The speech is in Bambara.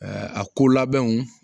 a ko labɛnw